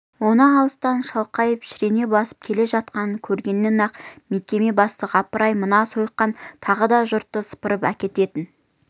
оның алыстан шалқайып шірене басып келе жатқанын көргеннен-ақ мекеме бастығы апыр-ай мына сойқан тағы да жұртты сыпырып әкететін